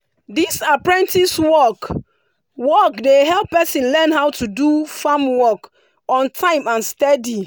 this apprentice work work dey help person learn how to do farm work on time and steady.